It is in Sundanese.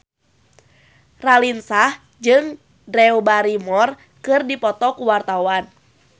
Raline Shah jeung Drew Barrymore keur dipoto ku wartawan